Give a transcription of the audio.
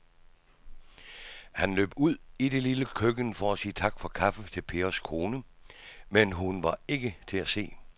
Han løb ud i det lille køkken for at sige tak for kaffe til Pers kone, men hun var ikke til at se.